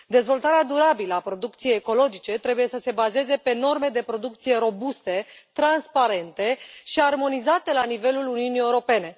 Dezvoltarea durabilă a producției ecologice trebuie să se bazeze pe norme de producție robuste, transparente și armonizate la nivelul Uniunii Europene.